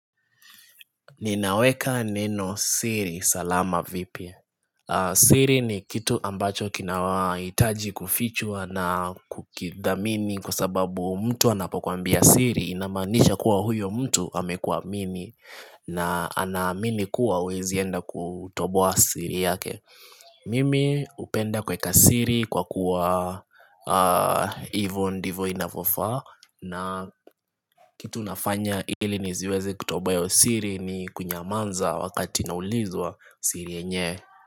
Ninaweka neno siri, salama vipi siri ni kitu ambacho kinawahitaji kufichwa na kukidhamini Kwa sababu mtu anapokuambia siri inamaanisha kuwa huyo mtu amekuwa mimi na anaamini kuwa huwezi enda kutoboa siri yake Mimi hupenda kuweka siri kwa kuwa hivyo ndivyo inavyofaa na kitu nafanya ili nisiweze kutoboa iyo siri ni kunyamaza wakati naulizwa siri yenyewe.